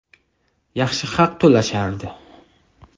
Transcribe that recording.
Yaxshi haq to‘lashardi.